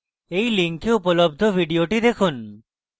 এই link উপলব্ধ video দেখুন